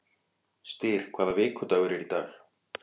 Styr, hvaða vikudagur er í dag?